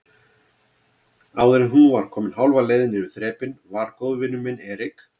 Áðuren hún var komin hálfa leið niður þrepin var góðvinur minn Erik